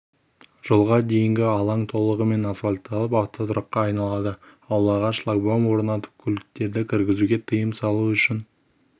жолға дейінгі алаң толығымен асфальтталып автотұраққа айналады аулаға шлагбаум орнатып көліктерді кіргізуге тыйым салу үшін